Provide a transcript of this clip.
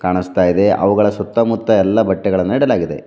ಅನಸ್ತಾ ಇದೆ ಅವುಗಳ ಸುತ್ತಮುತ್ತ ಎಲ್ಲ ಬಟ್ಟೆಗಳನ್ ಇಡಲಾಗಿದೆ.